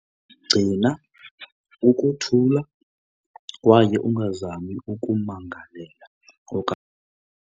Gcina ukuthula kwaye ungazami ukummangalela .